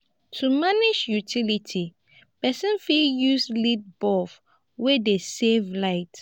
to manage utility person fit use led bulb wey dey save light